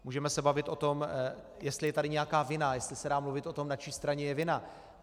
Můžeme se bavit o tom, jestli je tady nějaká vina, jestli se dá mluvit o tom, na čí straně je vina.